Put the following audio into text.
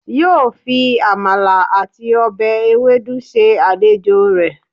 yóó fi Amala àti ọbẹ̀ ewedu se àlejò rẹ̀.